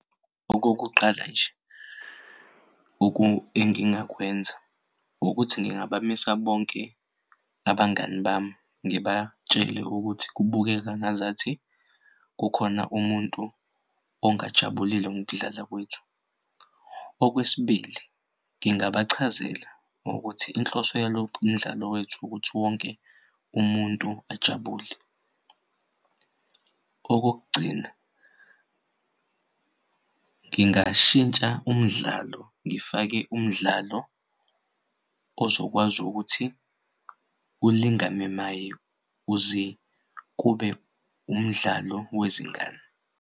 Okokuqala nje engingakwenza ukuthi ngingabamisa bonke abangani bami ngibatshele ukuthi kubukeka ngazathi kukhona umuntu ongajabulile ngokudlala kwethu. Okwesibili, ngingabachazela ukuthi inhloso yalokhu umdlalo wethu ukuthi wonke umuntu ajabule. Okokugcina, ngingashintsha umdlalo ngifake umdlalo ozokwazi ukuthi ulingane naye uze kube umdlalo wezingane.